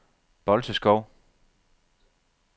Bolteskov